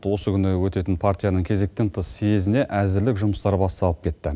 осы күні өтетін партияның кезектен тыс сезіне әзірлік жұмыстары басталып кетті